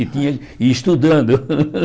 E tinha e estudando.